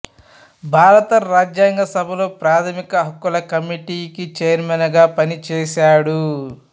భారత రాజ్యాంగ సభలో ప్రాథమిక హక్కుల కమిటీకి చైర్మెన్ గా పనిచేశాడు